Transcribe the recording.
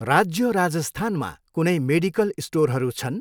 राज्य राजस्थानमा कुनै मेडिकल स्टोरहरू छन्?